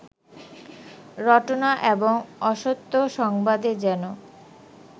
রটনা এবং অসত্য সংবাদে যেন